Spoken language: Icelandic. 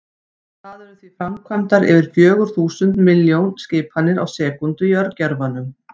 Það eru því framkvæmdar yfir fjögur þúsund milljón skipanir á sekúndu í örgjörvanum!